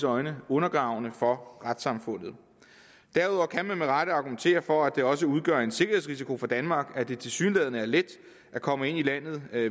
øjne undergravende for retssamfundet derudover kan man med rette argumentere for at det også udgør en sikkerhedsrisiko for danmark at det tilsyneladende er let at komme ind i landet